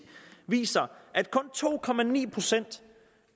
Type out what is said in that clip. viser at kun to procent